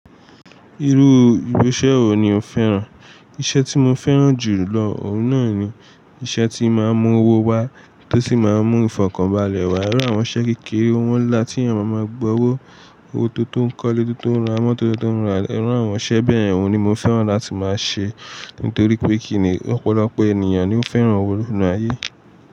Irú irú iṣẹ́ wo ni o fẹ́ràn? Iṣẹ́ tí mo fẹ́ràn jù lọ, òun náà ni iṣẹ́ tíí máa ń mú owó wá, tó sì máa ń mú ìfọ̀kànbalẹ̀ wá. Irú àwọn iṣẹ́ kékeré, owó ńlá tí ènìyàn máa máa gba owó, owó tó tó ń kọ́lé, tó tó ń ra mọ́tò, tó tó ń ra ilẹ̀. Irú àwọn iṣẹ́ bẹ́yẹn òun ni mo fẹ́ràn láti máa ṣe. Nítorí pé kíni ọ̀pọ̀lọpọ̀ ènìyàn ni ó fẹ́ràn owó nínú ayé.